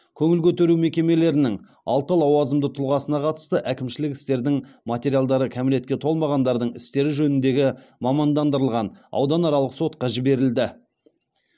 көңіл көтеру мекемелерінің алты лауазымды тұлғасына қатысты әкімшілік істердің материалдары кәмелетке толмағандардың істері жөніндегі мамандандырылған ауданаралық сотқа жіберілді